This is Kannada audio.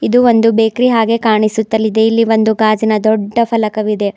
ಇದು ಒಂದು ಬೇಕರಿ ಹಾಗೆ ಕಾಣಿಸುತ್ತಲಿದೆ ಇಲ್ಲಿ ಒಂದು ಗಾಜಿನ ದೊಡ್ಡ ಫಲಕವಿದೆ.